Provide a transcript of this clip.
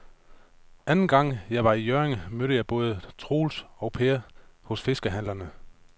Anden gang jeg var i Hjørring, mødte jeg både Troels og Per hos fiskehandlerne.